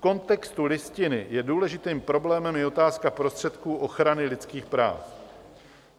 V kontextu Listiny je důležitým problémem i otázka prostředků ochrany lidských práv.